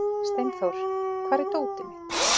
Steinþór, hvar er dótið mitt?